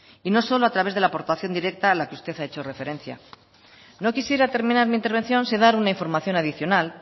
y no solo a través de la aportación directa a la que usted ha hecho referencia no quisiera terminar mi intervención sin dar una información adicional